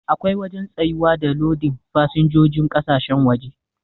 Akwai wajen tsayuwa da lodin fasinjojin kasashen waje.